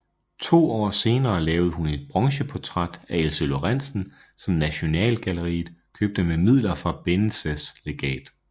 To år senere lavede hun en bronzeportræt af Else Lorentzen som Nasjonalgalleriet købte med midler fra Benneches legat